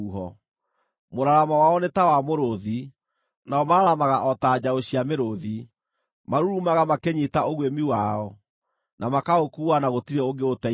Mũraramo wao nĩ ta wa mũrũũthi, nao mararamaga o ta njaũ cia mĩrũũthi; marurumaga makĩnyiita ũguĩmi wao, na makaũkuua na gũtirĩ ũngĩũteithũra.